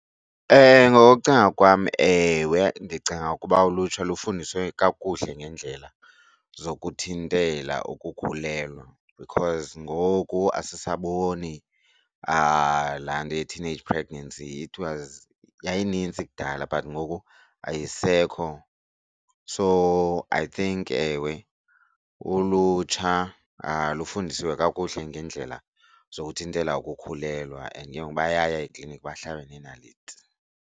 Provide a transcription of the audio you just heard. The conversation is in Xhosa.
Ngokucinga kwam ewe ndicinga ukuba ulutsha lufundiswe kakuhle ngeendlela zokuthintela ukukhulelwa because ngoku asisaboni laa nto ye-teenage pregnancy. It was yayinintsi kudala but ngoku ayisekho. So I think ewe ulutsha lufundisiwe kakuhle ngeendlela zokuthintela ukukhulelwa and ke ngoku bayaya ekliniki bahlabe neenaliti.